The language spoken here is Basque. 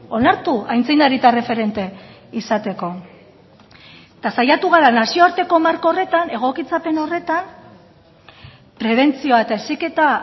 onartu aitzindari eta erreferente izateko eta saiatu gara nazioarteko marko horretan egokitzapen horretan prebentzioa eta heziketa